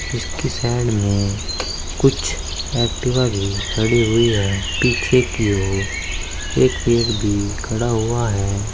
जिसकी साइड में कुछ एक्टिवा भी खड़ी हुई है पीछे की ओर एक पेड़ भी खड़ा हुआ है।